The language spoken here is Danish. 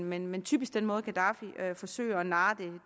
men men typisk den måde gaddafi forsøger at narre